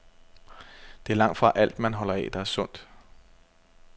Det er langtfra alt, man holder af, der er sundt.